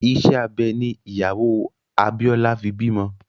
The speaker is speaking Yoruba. Ìṣe abẹ ní ìyàwó Abíọ́lá fi bímọ